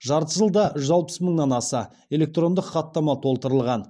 жарты жылда жүз алпыс мыңнан аса электрондық хаттама толтырылған